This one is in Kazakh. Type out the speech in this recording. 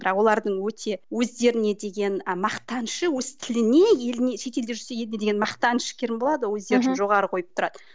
бірақ олардың өте өздеріне деген ы мақтанышы өз тіліне еліне шетелде жүрсе еліне деген мақтанышы керім болады өздерін жоғары қойып тұрады